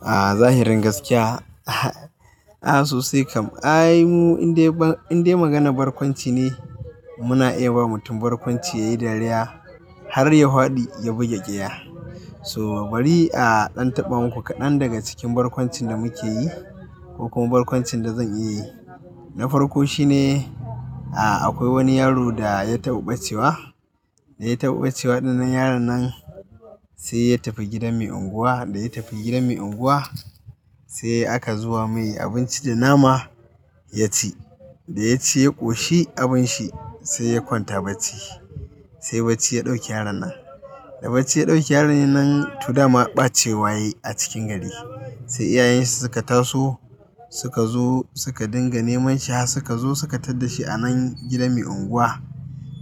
A zahirin gaskiya, a sosai kam. A yi mu indai, indai maganar barkwanci ne muna iya ba mutum barkwanci yayi dariya har hwahadi ya bugi ƙiya. So bari a ɗan taɓa maku kaɗan daga cikin barkwancin da muke yi ko kuma barkwancin da zan iya yi. Na farko shine, a akwai wani yaro da ya taɓa ɓacewa, da ya taɓa ɓacewa ɗan nan yaron nan sai ya tafi gidan mai unguwa. Da ya tafi gidan mai unguwa sai aka zuba mai abinci da nama ya ci. Da ya ci ya ƙoshi abinshi sai ya kwanta bacci. Sai bacci ya ɗauki yaron nan. Da bacci ya ɗauki yaron nan, to dama ɓacewa yayi a cikin gari. Sai iyayen shi suka taso, suka zo suka dinga neman shi har suka zo suka tar da shi a nan gidan mai unguwa.